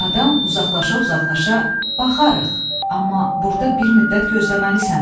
Adam uzaqlaşa-uzaqlaşa baxarıq, amma burda bir müddət gözləməlisən.